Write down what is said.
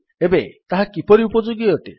ଏବେ ତାହା କିପରି ଉପଯୋଗୀ ଅଟେ